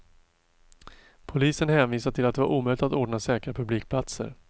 Polisen hänvisade till att det var omöjligt att ordna säkra publikplatser.